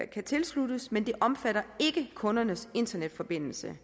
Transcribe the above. kan tilsluttes men det omfatter ikke kundernes internetforbindelser